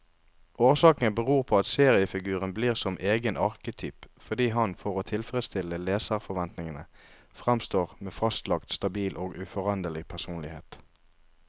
Årsaken beror på at seriefiguren blir som egen arketyp, fordi han for å tilfredstille leserforventningen framstår med fastlagt, stabil og uforanderlig personlighet.